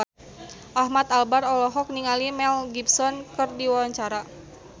Ahmad Albar olohok ningali Mel Gibson keur diwawancara